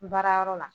Baara yɔrɔ la